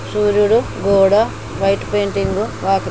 సూర్యుడు గోడ white painting వాకిలి .